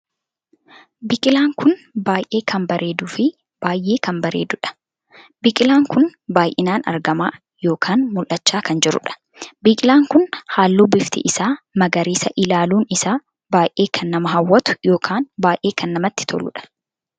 Biqilaan kun baay'ee kan bareeduu fi baay'ee kan bareedduudha. biqilaan kun baay'inaan argamaa ykn mul'achaa kan jiruudha. biqilaan kun halluu bifti isaa magariisa ilaaluun isaa baay'ee kan nama hawwatu ykn baay'ee kan namatti toluudha.